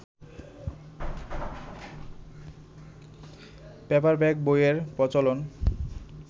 paperback বইয়ের প্রচলন